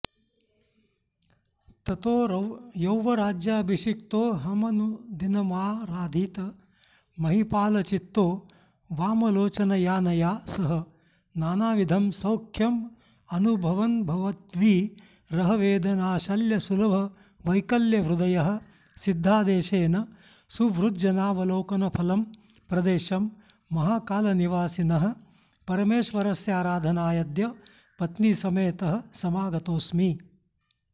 ततो यौवराज्याभिषिक्तोऽहमनुदिनमाराधितमहीपालचित्तो वामलोचनयानया सह नानाविधं सौख्यमनुभवन्भवद्विरहवेदनाशल्यसुलभवैकल्यहृदयः सिद्धादेशेन सुहृज्जनावलोकनफलं प्रदेशं महाकालनिवासिनः परमेश्वरस्याराधनायाद्य पत्नीसमेतः समागतोऽस्मि